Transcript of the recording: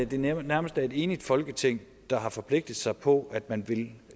det nærmest er et enigt folketing der har forpligtet sig på at man vil